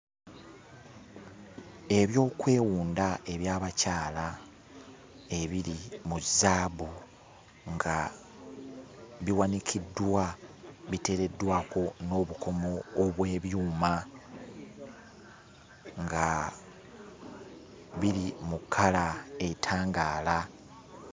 Ebyokwewunda eby'abakyala ebiri mu zzaabu nga biwanikiddwa biteereddwako n'obukomo obw'ebyuma nga biri mu kkala etangaala.